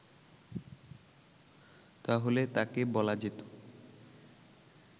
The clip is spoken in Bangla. তাহলে তাঁকে বলা যেত